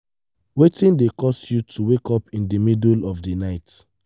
wetin dey cause you to wake up in di middle of di night?